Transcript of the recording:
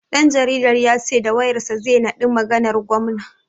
Ɗan jaridan ya ce da wayar sa zai naɗi maganar gwamna.